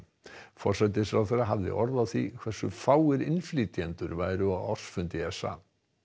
forsætisráðherra hafði orð á því hversu fáir innflytjendur væru á ársfundi s a